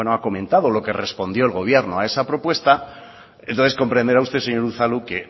ha comentado lo que respondió el gobierno a esa propuesta entonces comprenderá usted señor unzalu que